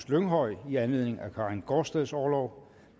lynghøj i anledning af karin gaardsteds orlov